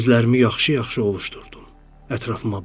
Gözlərimi yaxşı-yaxşı ovuşdurdum, ətrafıma baxdım.